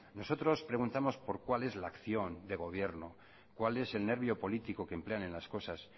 nosotros preguntamos por cuál es la acción de gobierno cuál es el nervio político que emplean en las cosas